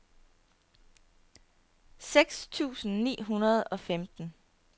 seks tusind ni hundrede og femten